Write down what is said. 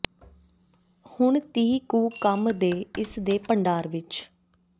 ਹੁਣ ਤੀਹ ਕੁ ਕੰਮ ਦੇ ਇਸ ਦੇ ਭੰਡਾਰ ਵਿਚ